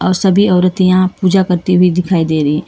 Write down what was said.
और सभी औरतें यहां पूजा करते हुई दिखाई दे रही--